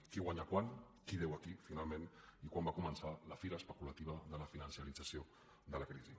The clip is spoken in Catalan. qui guanya quant qui deu a qui finalment i quan va començar la fira especulativa de la financerització de la crisi